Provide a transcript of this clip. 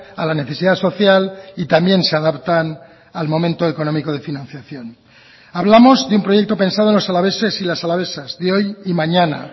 a la necesidad social y también se adaptan al momento económico de financiación hablamos de un proyecto pensado en los alaveses y las alavesas de hoy y mañana